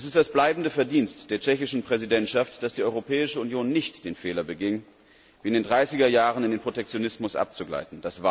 Es ist das bleibende Verdienst der tschechischen Präsidentschaft, dass die Europäische Union nicht den Fehler beging, wie in den 30er Jahren in den Protektionismus abzugleiten.